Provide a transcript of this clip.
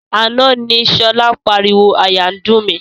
Àná ni sọlá ń pariwo "àyà ń dùn mí".